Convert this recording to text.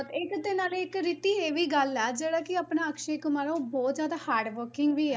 ਇੱਕ ਤੇ ਨਾਲੇ ਇੱਕ ਰਿਤੀ ਇਹ ਵੀ ਗੱਲ ਹੈ ਜਿਹੜਾ ਕਿ ਆਪਣਾ ਅਕਸ਼ੇ ਕੁਮਾਰ ਆ ਉਹ ਬਹੁਤ ਜ਼ਿਆਦਾ hardworking ਵੀ ਹੈ